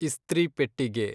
ಇಸ್ತ್ರಿ ಪೆಟ್ಟಿಗೆ